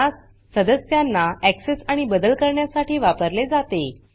त्यास सदस्यांना ऍक्सेस आणि बदल करण्यासाठी वापरले जाते